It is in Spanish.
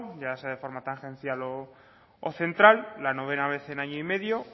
ya sea de forma tangencial o central la novena vez en año y medio